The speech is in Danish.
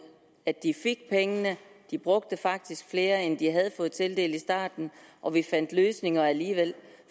at de fik pengene de brugte faktisk flere end de havde fået tildelt i starten og vi fandt løsninger alligevel